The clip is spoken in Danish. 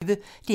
DR P1